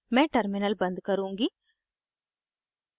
मैं टर्मिनल बन्द करुँगी